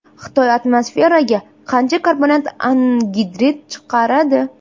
Xitoy atmosferaga qancha karbonat angidrid chiqaradi?